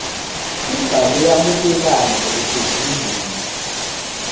ibhalwe yamukelana ngokusezingeni